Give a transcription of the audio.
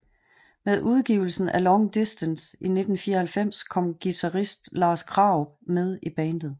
Med udgivelsen af Long Distance i 1994 kom guitarist Lars Krarup med i bandet